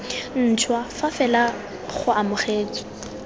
ntšhwa fa fela go amogetswe